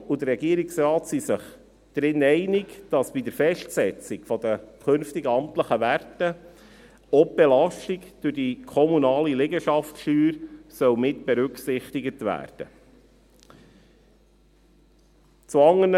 Die Kommission und der Regierungsrat sind sich einig, dass bei der Festsetzung der künftigen amtlichen Werte auch die Belastung durch die kommunale Liegenschaftssteuer mitberücksichtigt werden soll.